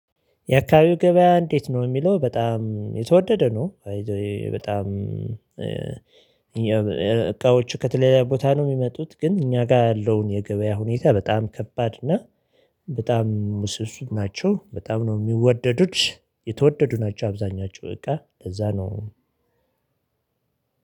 የአካባቢው ገበያ እንዴት ነው የሚለው በጣም የተወደደ ነው። በጣም እቃዎቹ ከተለያዩ ቦታ ነው የሚመጡት ግን እኛ ጋር ያለውን የገበያ ሁኔታ በጣም ከባድ እና በጣም ስሱ ናቸው። በጣም ነው የሚወደዱት የተወደዱ ናቸው አብዛኛወቹ እቃ ለዛ ነው።